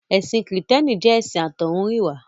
Ẹ̀sìn Kìrìtẹ́ẹ́nì jẹ́ ẹ̀sìn àtọ́húnrìnwá.